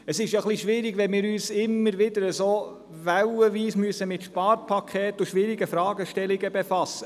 Es ist schwierig, wenn wir uns immer wieder, wellenartig mit Sparpaketen und schwierigen Fragestellungen befassen.